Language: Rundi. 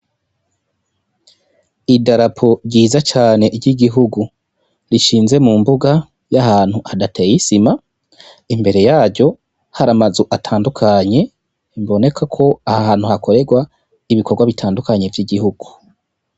Idarapo ryiza cane ry'igihugu rishinze mu mbuga y'ahantu hadateye isima imbere yaryo hari amazu atandukanye biboneka ko ahantu hakorerwa ibikorwa bitandukanye vy'igihugu.